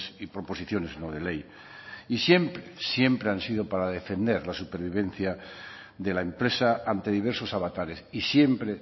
y proposiciones no de ley y siempre siempre han sido para defender la supervivencia de la empresa ante diversos avatares y siempre